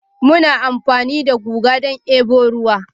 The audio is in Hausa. Muna amfani da guga don debo ruwa